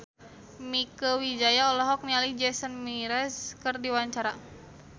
Mieke Wijaya olohok ningali Jason Mraz keur diwawancara